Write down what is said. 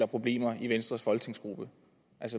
problemer i venstres folketingsgruppe